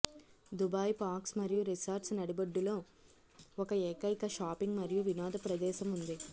Dubai parks మరియు resorts నడిబొడ్డులో ఒక ఏకైక షాపింగ్ మరియు వినోద ప్రదేశం ఉంది